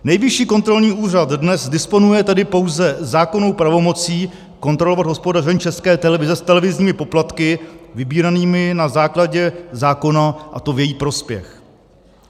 Nejvyšší kontrolní úřad dnes disponuje tedy pouze zákonnou pravomocí kontrolovat hospodaření České televize s televizními poplatky vybíranými na základě zákona, a to v její prospěch.